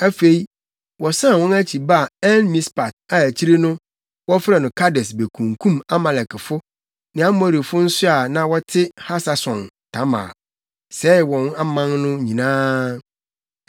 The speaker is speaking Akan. Afei, wɔsan wɔn akyi baa En-Mispat a akyiri no, wɔfrɛɛ no Kades bekunkum Amalekfo ne Amorifo nso a na wɔte Hasason-Tamar, sɛee wɔn man no nyinaa.